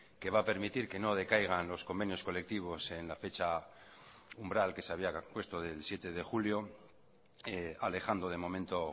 que va a permitir que no decaigan los convenios colectivos en la fecha umbral que se había puesto del siete de julio alejando de momento